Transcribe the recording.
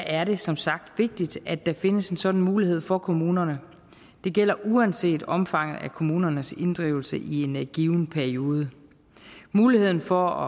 er det som sagt vigtigt at der findes en sådan mulighed for kommunerne det gælder uanset omfanget af kommunernes inddrivelse i en given periode muligheden for